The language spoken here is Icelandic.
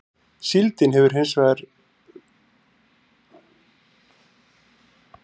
Síldin er hins vegar sú sjávarafurð sem ratar oftast á borð Dana.